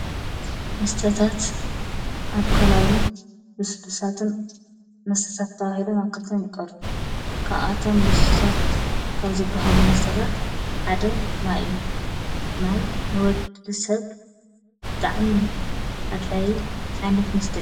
ምስተታት ኣርከላውን ብሱዱሳትን መሥተታት ተዋዒለ ማከልተም ይቐሩሩ ካኣቶም ልሱድሳት ካብ ዘብሃሉ መስተታት ሓደ ማይእዩ ማይ ንወድድድ ሰብ ብጥዓሚሙል ኣድላይ ዓይነት መስተ እዩ።